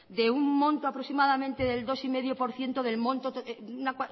de un monto aproximadamente del dos coma cinco por ciento de una